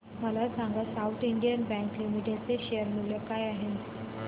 मला सांगा South Indian bank limited चे शेअर मूल्य काय आहे